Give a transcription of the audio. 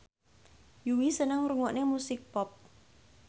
Yui seneng ngrungokne musik pop